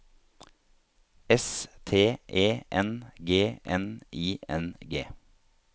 S T E N G N I N G